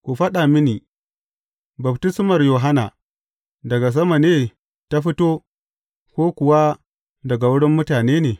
Ku faɗa mini, baftismar Yohanna, daga sama ne ta fito, ko kuwa daga wurin mutane ne?